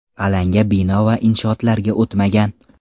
Alanga bino va inshootlarga o‘tmagan.